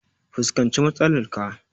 Fuskanci matsalar ka!